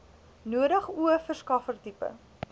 nodig o verskaffertipe